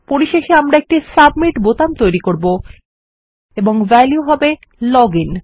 পরিশেষে আমরা একটি সাবমিট বোতাম তৈরী করব এবং ভ্যালিউ হবে লগ আইএন